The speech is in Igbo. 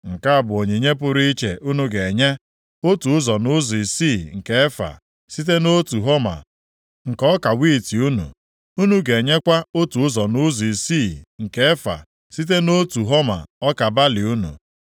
“ ‘Nke a bụ onyinye pụrụ iche unu ga-enye: otu ụzọ nʼụzọ isii nke efa, site nʼotu homa nke ọka wiiti unu. Unu ga-enyekwa otu ụzọ nʼụzọ isii nke efa + 45:13 Ihe ruru kilogram abụọ na ụma asaa site nʼotu homa ọka balị unu.